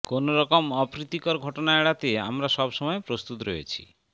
কোনোরকম অপ্রীতিকর ঘটনা এড়াতে আমরা সব সময় প্রস্তত রয়েছি